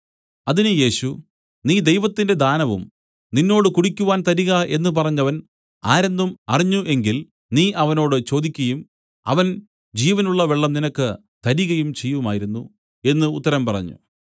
അതിന് യേശു നീ ദൈവത്തിന്റെ ദാനവും നിന്നോട് കുടിക്കുവാൻ തരിക എന്നു പറഞ്ഞവൻ ആരെന്നും അറിഞ്ഞ് എങ്കിൽ നീ അവനോട് ചോദിക്കയും അവൻ ജീവനുള്ള വെള്ളം നിനക്ക് തരികയും ചെയ്യുമായിരുന്നു എന്നു ഉത്തരം പറഞ്ഞു